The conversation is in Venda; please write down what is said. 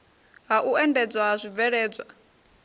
ha u endedzwa ha zwibveledzwa